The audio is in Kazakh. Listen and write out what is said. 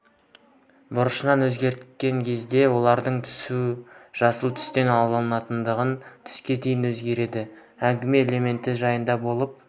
бұрышын өзгерткен кезде олардың түсі жасыл түстен алтындатылған түске дейін өзгереді әңгіме элементі жайында болып